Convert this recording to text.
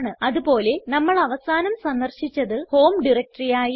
അത് പോലെ നമ്മൾ അവസാനം സന്ദർശിച്ചത് ഹോം ഡയറക്ടറി ആയിരുന്നു